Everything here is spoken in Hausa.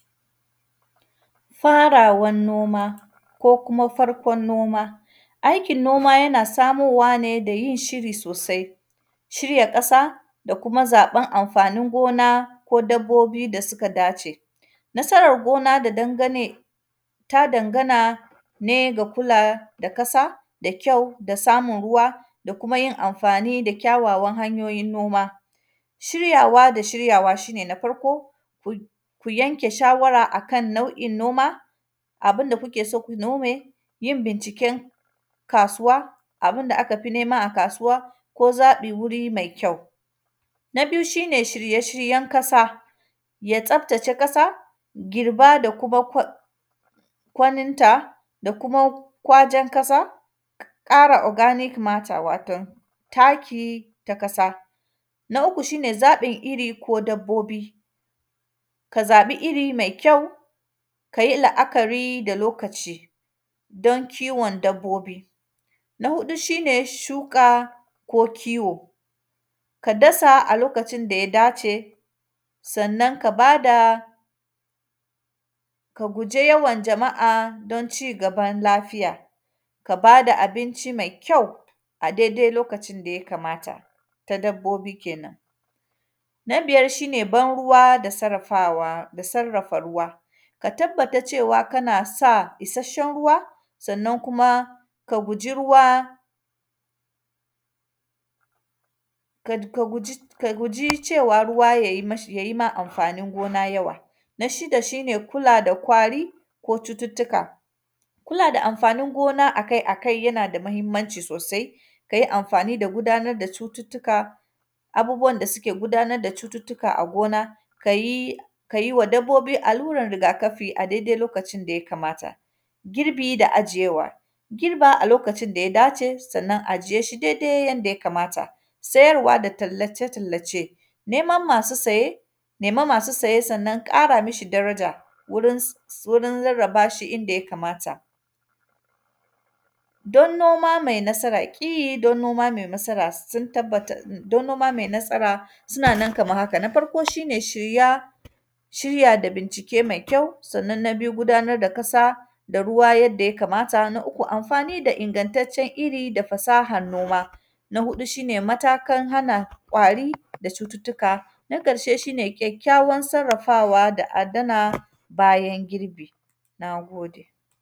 Farawan noma ko kuma farkon noma. Aikin noma, yana samowa ne da yin shiri sosai, shirya ƙasa da kuma zaƃan amfanin gona ko dabbobi da sika dace. Nasarar gona da dangane; ta dangana ne da kula da kada da kyau da samun ruwa da kuma yin amfani da kyawawan hanyoyin noma. Shiryawa da shiryawa, shi ne na farko k; ku yanke shawara a kan nau’in noma, abin da kuke so ku nome, yin binciken kasuwa, abin da aka fi nema a kasuwa ko zaƃi wuri mai kyau. Na biyu, shi ne shirye-shiryen kasa, ya tsaftace ƙasa, girba da kuam kwai; kwaninta, da kuma kwajen kasa, ƙara “organic matter” waton taki ta kasa. Na uku, shi ne zaƃin iri ko dabbobi, ka zaƃi iri me kyau, ka yi la’akari da lokacidon kiwon dabbobi. Na huɗu, shi ne shuƙa ko kiwo, ka dasa a lokacin da ya dace, sannan ka ba da, ka guje yawan jama’a, don cigaban lafiya. Ka ba da abinci me kyau, a dede lokacin da ya kamata, ta dabbobi kenan. Na biyar, shi ne bar-ruwa da sarrafawa, da sarrafa ruwa, ka tabbata cewa kana sa isasshen ruwa, sannan kuma ka guji ruwa kad; ka guji; ka guji cewa ruwa yai mishi; yai ma amfanin gona yawa. Na shida, shi ne kula da kwari ko cututtuka. Kula da amfanin gona a kai a kai, yana da mahimmanci sosai, ka yi amfani da gudanad da cututtuka, abubuwan da sike gudanad da cututtuka a gona. Ka yi, ka yi wa dabbobi allurar riga-kafi a dede lokacin da ya kamata. Girbi da ajiyewa, girba a lokacin da ya dace, sannan ajiye shi dede yanda ya kamata. Seyarwa da tallace-tallace, nemam masu saye, nema masu saye, sannan ƙara mishi daraja wurin s; s; wurin rarraba shi inda ya kamata. Don noma me nasara, ƙi don noma me nasara, s; sun tabbata, don noma me nasara suna nan kaman haka. Na farko, shi ne shirya, shirya da binkice me kyau, sannan, na biyu gudanar da kasa da ruwa yanda ya kamata. Na uku, amfani da ingantaccen iri da fasahan noma. Na huɗu, shi ne matakan hana ƙwari da cututtuka. Na ƙarshe, shi ne kyakkyawan sarrafawa da adana bayan girbi, na gode.